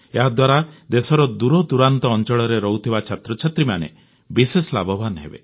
ଏହାଦ୍ୱାରା ଦେଶର ଦୂରଦୂରାନ୍ତ ଅଂଚଳରେ ରହୁଥିବା ଛାତ୍ରଛାତ୍ରୀମାନେ ବିଶେଷ ଲାଭବାନ ହେବେ